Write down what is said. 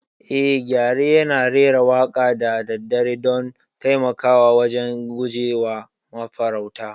Eh, gyare yana rera waƙa da daddare don taimakawa wajen guje wa mafarauta.